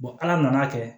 ala nana kɛ